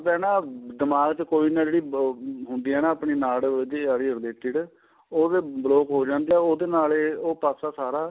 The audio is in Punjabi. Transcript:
ਖੜਦਾ ਨਾ ਦਿਮਾਗ਼ ਚ ਕੋਈ ਨਾ ਹੁੰਦੀ ਏ ਆਪਣੀ ਨਾੜ ਉਹਦੀ ਆ ਰਹੀ ਆ related ਉਹਦੇ block ਹੋ ਜਾਂਦਾ ਉਹਦੇ ਨਾਲ ਏ ਉਹ ਪਾਸਾ ਸਾਰਾ